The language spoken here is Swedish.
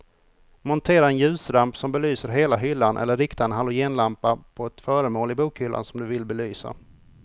Montera en ljusramp som belyser hela hyllan eller rikta en halogenlampa på ett föremål i bokhyllan som du vill belysa.